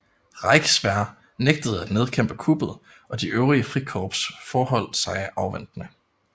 Reichswehr nægtede at nedkæmpe kuppet og de øvrige frikorps forholdt sig afventende